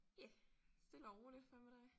Ja stille og roligt. Hvad med dig?